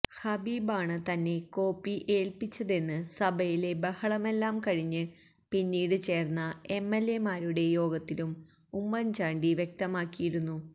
ഹബീബാണ് തന്നെ കോപ്പി ഏൽപിച്ചതെന്ന് സഭയിലെ ബഹളമെല്ലാം കഴിഞ്ഞ് പിന്നീട് ചേർന്ന എംഎൽഎമാരുടെ യോഗത്തിലും ഉമ്മൻ ചാണ്ടി വ്യക്തമാക്കിയിരുന്നു